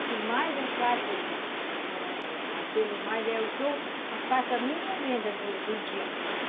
O que mais eu faço com aquilo mais é o que eu faço a minha venda do do dia.